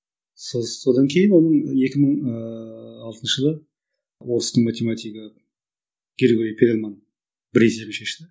содан кейін оны екі мың ыыы алтыншы жылы орыстың математигі григорий перельман бір есебін шешті